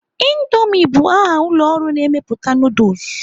Indoomi bụ aha ụlọ ọrụ na-emepụta nuduls.